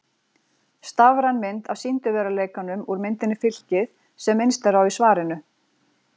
Stafræn mynd af sýndarveruleikanum úr myndinni Fylkið sem minnst er á í svarinu.